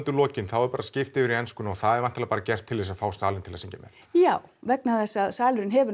lokin er bara skipt yfir í ensku og það er væntanlega bara gert til þess að fá salinn til að syngja með já vegna þess að salurinn hefur